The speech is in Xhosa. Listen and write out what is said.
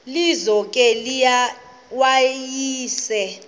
lizo ke wayesel